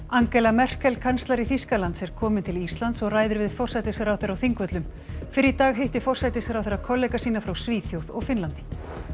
Angela Merkel kanslari Þýskaland s er komin til Íslands og ræðir við forsætisráðherra á Þingvöllum fyrr í dag hitti forsætisráðherra kollega sína frá Svíþjóð og Finnlandi